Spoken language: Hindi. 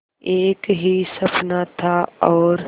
एक ही सपना था और